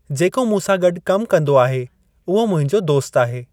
जेको मूंसां गॾु कमु कंदो आहे उहो मुंहिंजो दोस्त आहे।